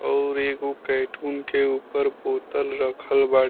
और एगो कैटून के ऊपर बोतल रखल बा --